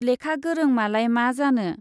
लेखा गोरों मालाय मा जानो।